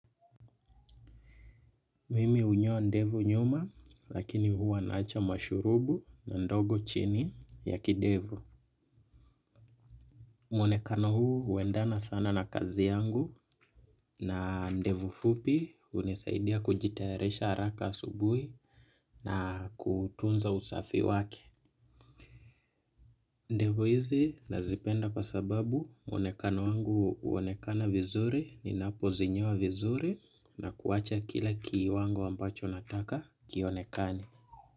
Mimi hunyoa ndevu nyuma lakini huwa naacha mashurubu na ndogo chini ya kidevu. Muonekano huu huendana sana na kazi yangu na ndevu fupi hunisaidia kujitayarisha haraka asubuhi na kutunza usafi wake. Ndevu hizi nazipenda kwa sababu muonekano wangu huonekana vizuri ninapozinyoa vizuri na kuwacha kila kiwango ambacho nataka kionekane.